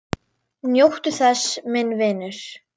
Njóttu þess, minn vinur.